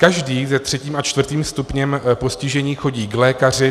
Každý se třetím a čtvrtým stupněm postižení chodí k lékaři.